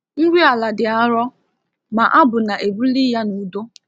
Nri ala dị arọ, ma abụ na-ebuli ya n’udo.